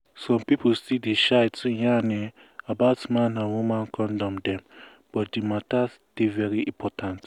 some people still dey shy to yarn[um]about man and woman condom dem but di matter dey very important